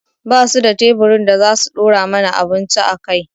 Ba su da teburin da za su ɗora mana abinci a kai